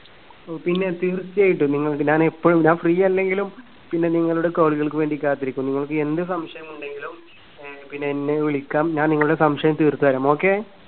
ഓ പിന്നെ തീർച്ചയായിട്ടും. ഞാൻ എപ്പോഴും ഞാൻ free അല്ലെങ്കിലും പിന്നെ നിങ്ങളുടെ call കൾക്കു വേണ്ടി കാത്തിരിക്കും. നിങ്ങൾക്ക് എന്ത് സംശയമുണ്ടെങ്കിലും അഹ് പിന്നെ എന്നെ വിളിക്കാം. ഞാൻ നിങ്ങളുടെ സംശയം തീർത്തുതരാം. Okay.